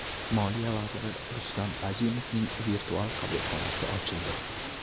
Moliya vaziri Rustam Azimovning virtual qabulxonasi ochildi .